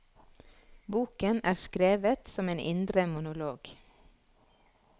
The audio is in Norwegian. Boken er skrevet som en indre monolog.